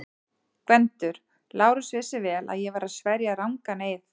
GVENDUR: Lárus vissi vel að ég var að sverja rangan eið.